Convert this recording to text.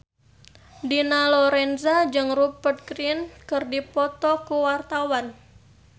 Dina Lorenza jeung Rupert Grin keur dipoto ku wartawan